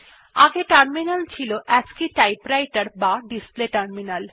আগে টার্মিনাল ছিল অ্যাসি টাইপরাইটের বা ডিসপ্লে টার্মিনাল